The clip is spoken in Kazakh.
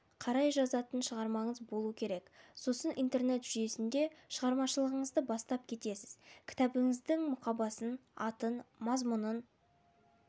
қарай жазатын шығармаңыз болу керек сосын интернет жүйесінде шығармашылығыңызды бастап кетесіз кітабыңыздың мұқабасын атын мазмұнын